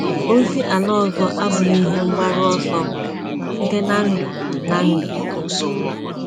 Ozi ala ọzọ abụghị ihe mgbaru ọsọ m site na ndụ. na ndụ.